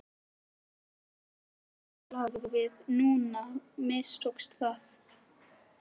En núna þegar lífið lá við, núna mistókst það!